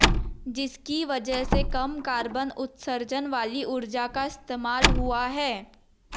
जिसकी वजह से कम कार्बन उत्सर्जन वाली ऊर्जा का इस्तेमाल हुआ है